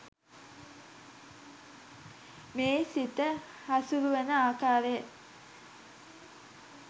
මේ සිත හසුරුවන ආකාරය